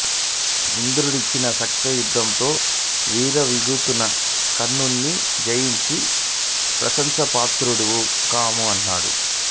ఇంద్రుడిచ్చిన శక్తాయుధంతో విర్ర వీగుతున్న కర్ణుని జయించి ప్రశంశా పాత్రుడవు కమ్ము అన్నాడు